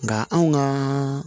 Nka anw ka